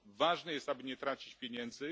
Ważne jest, aby nie tracić pieniędzy.